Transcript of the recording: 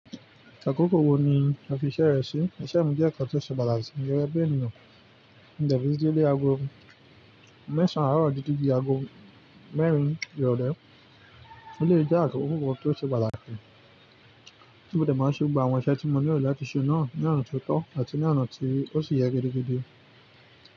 Akòkò wò ní a fi iṣẹ́ rẹ sí? Iṣẹ́ mi jẹ́ nkan tó ṣe pàtàkì, gẹgẹ bi ènìyàn. Mo dẹ̀ lé ago mẹ́sàn-án àárọ̀ di jíjì agogo mẹ́rin ìrọ̀lẹ́. Ó lè jẹ́ akòkò kan tí ó ṣe pàtàkì tí mo dẹ̀ máa ṣe gbogbo àwọn iṣẹ́ tí mo nílò láti ṣe náà ní ọ̀nà tó tọ́ àti ní ọ̀nà tí ó sì yẹ gidigidi.